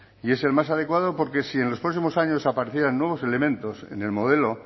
y es el más adecuado porque si en los próximos años aparecieran nuevos elementos en el modelo